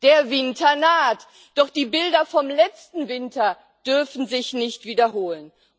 Der Winter naht, doch die Bilder vom letzten Winter dürfen sich nicht wiederholen.